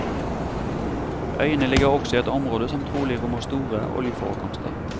Øyene ligger også i et område som trolig rommer store oljeforekomster.